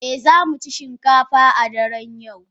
Eh, za mu ci shinkafa a daren yau.